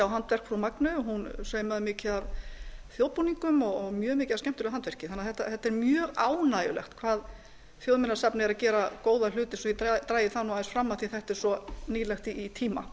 handverk frú magneu hún saumaði mikið af þjóðbúninga og mjög mikið af skemmtilegu handverki þannig að þetta er mjög ánægjulegt hvað þjóðminjasafnið er að gera góða hluti svo ég dragi það nú aðeins fram af því þetta er svo nýlegt í tíma